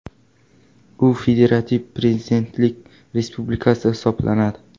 U federativ prezidentlik respublikasi hisoblanadi.